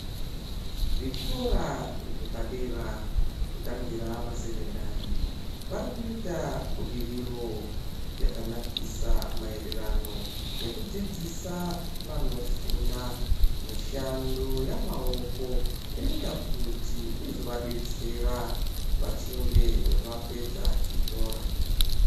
Zvikora zvepadera kutangira masekendari vari kuitsla budiriro yakanakisa maererano nekudzidzisa vanofunda mishando yemaoko inozoita kuti izovadetsera vapedza chikora.